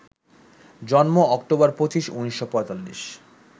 জন্ম অক্টোবর ২৫, ১৯৪৫